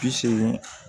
Bi seegin